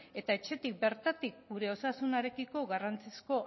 eta etxetik bertatik gure osasunarekiko garrantzizko